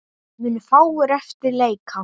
Munu fáir eftir leika.